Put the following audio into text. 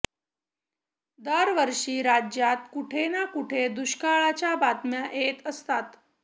दरवर्षी राज्यात कुठे ना कुठे दुष्काळाच्या बातम्या येत असतात